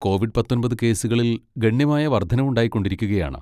Covid പത്തൊൻപത് കേസുകളിൽ ഗണ്യമായ വർധനവുണ്ടായിക്കൊണ്ടിരിക്കുകയാണ്.